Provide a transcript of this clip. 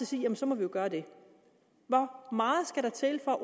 sige jamen så må vi jo gøre det hvor meget skal der til for